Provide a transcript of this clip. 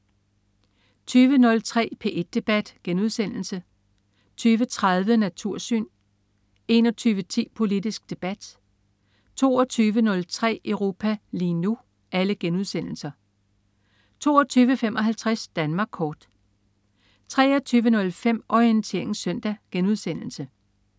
20.03 P1 debat* 20.30 Natursyn* 21.10 Politisk Debat* 22.03 Europa lige nu* 22.55 Danmark Kort 23.05 Orientering Søndag*